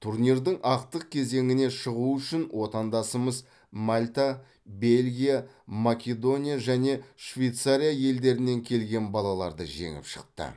турнирдің ақтық кезеңіне шығу үшін отандасымыз мальта бельгия македония және швейцария елдерінен келген балаларды жеңіп шықты